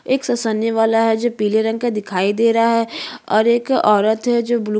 एक फिसलने वाला है जो पीले रंग का दिखाई दे रहा है और एक औरत है जो ब्लू --